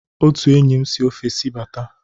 Otu enyi m si ofesi bata.